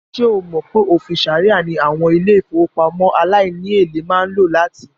Ṣé o mọ̀ pé òfìn ṣàríà ní àwọn ilé-ìfowópamọ́ aláìníèlé máa ń lò láti?